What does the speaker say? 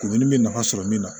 Kurunin bɛ nafa sɔrɔ min na